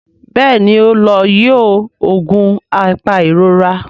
Béèni o ló yíò oògùn apairora.